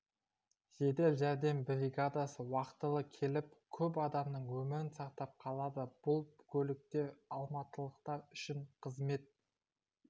жедел жәрдем бригадасы уақытылы келіп көп адамның өмірін сақтап қалады бұл көліктер алматылықтар үшін қызмет